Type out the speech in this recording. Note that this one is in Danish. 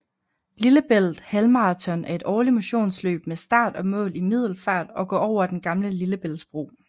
Lillebælt Halvmarathon er et årligt motionsløb med start og mål i Middelfart og går over den gamle Lillebæltsbro